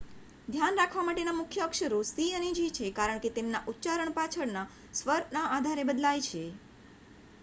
ધ્યાન રાખવા માટેના મુખ્ય અક્ષરો સી અને જી છે કારણ કે તેમના ઉચ્ચારણ પાછળના સ્વરના આધારે બદલાય છે